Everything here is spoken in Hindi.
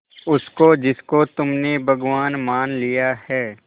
उसको जिसको तुमने भगवान मान लिया है